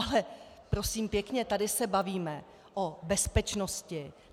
Ale prosím pěkně, tady se bavíme o bezpečnosti.